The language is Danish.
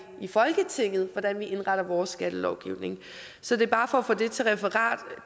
folketinget hvordan vi indretter vores skattelovgivning så det er bare for at få taget til referat at